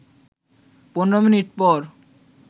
১৫ minute পর